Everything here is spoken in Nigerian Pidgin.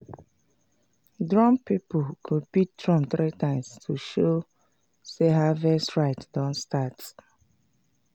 drum people go beat drum three times to show sey harvest rite don start.